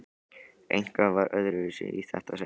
Eitthvað var öðruvísi í þetta sinn.